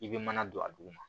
I bɛ mana don a dugu ma